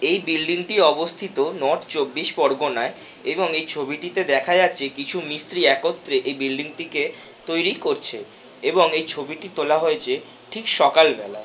এই বিল্ডিং -টি অবস্থিত নর্থ চব্বিশ পরগনায় এবং এই ছবিটিতে দেখা যাচ্ছে কিছু মিস্ত্রি একত্রে এই বিল্ডিং -টিকে তৈরী করছে এবং এই ছবিটি তোলা হয়েছে ঠিক সকালবেলায়।